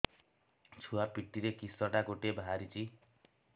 ଛୁଆ ପିଠିରେ କିଶଟା ଗୋଟେ ବାହାରିଛି